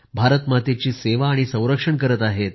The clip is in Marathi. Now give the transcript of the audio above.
भारतमातेची सेवा आणि संरक्षण करत आहेत